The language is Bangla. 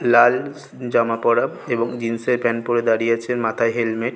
লাল জামা পড়া এবং জিন্স এর প্যান্ট পরে দাঁড়িয়ে আছে মাথায় হেলমেট ।